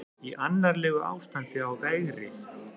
Í annarlegu ástandi á vegrið